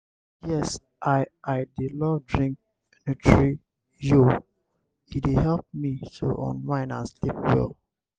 yes i i dey love drink nutri-yo e dey help me to unwind and sleep well.